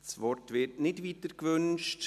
Das Wort wird nicht weiter gewünscht.